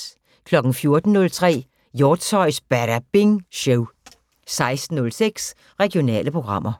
14:03: Hjortshøjs Badabing Show 16:06: Regionale programmer